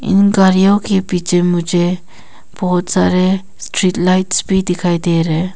गारियों के पीछे मुझे बहोत सारे स्ट्रीट लाइट्स भी दिखाई दे रहे--